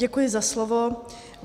Děkuji za slovo.